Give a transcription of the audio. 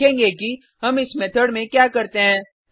हम देखेंगे कि हम इस मेथड में क्या करते हैं